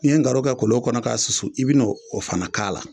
N'i ye ngaro kɛ kolon kɔnɔ k'a susu i bi n'o o fana k'a la